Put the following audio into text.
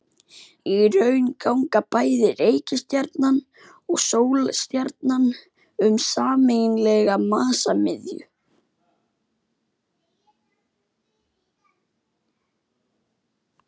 Í raun ganga bæði reikistjarnan og sólstjarnan um sameiginlega massamiðju.